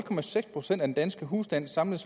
procent at de danske husstandes samlede